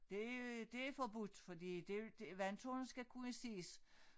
Det det er forbudt fordi det det vandtårnet skal kunne ses